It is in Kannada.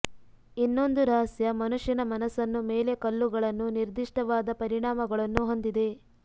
ಇನ್ನೊಂದು ರಹಸ್ಯ ಮನುಷ್ಯನ ಮನಸ್ಸನ್ನು ಮೇಲೆ ಕಲ್ಲುಗಳನ್ನು ನಿರ್ದಿಷ್ಟವಾದ ಪರಿಣಾಮಗಳನ್ನು ಹೊಂದಿದೆ